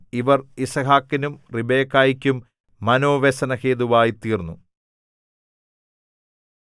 ഇവർ യിസ്ഹാക്കിനും റിബെക്കായ്ക്കും മനോവ്യസനഹേതുവായി തീർന്നു